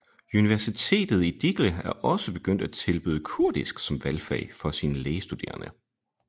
Universitetet i Dicle er også begyndt at tilbyde kurdisk som valgfag for sine lægestudederende